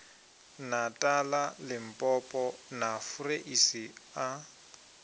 natala limpopo na fureisi a